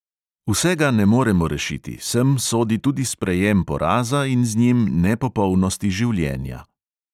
Vsega ne moremo rešiti, sem sodi tudi sprejem poraza in z njim nepopolnosti življenja.